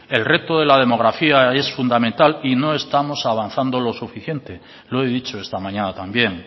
el reto de la demografía es fundamental y no estamos avanzando lo suficiente lo he dicho esta mañana también